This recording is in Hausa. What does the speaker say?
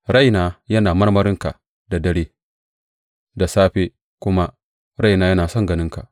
Raina yana marmarinka da dare; da safe kuma raina yana son ganinka.